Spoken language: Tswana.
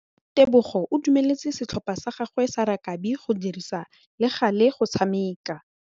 Tebogô o dumeletse setlhopha sa gagwe sa rakabi go dirisa le galê go tshameka.